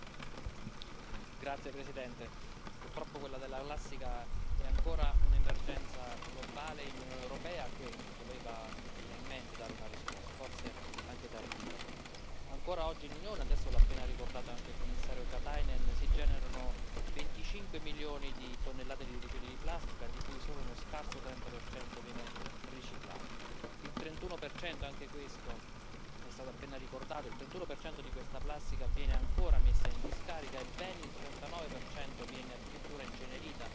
usagé. Dans les faits, il s'agira de promouvoir la production d'une nouvelle génération de plastique plus facilement recyclable et réutilisable par les entreprises. Or, nous constatons tous qu'après le rêve cauchemardesque de la globalisation et de la croissance exponentielle, le monde reprend peu à peu conscience de ses limites, et peut être même de ses erreurs. La production de plastique à outrance est une erreur et à défaut de nous séparer des plastiques partout où cela est possible, il faut convenir d'une diminution drastique de la production. Je le dis clairement, ce rapport passe à côté de cet objectif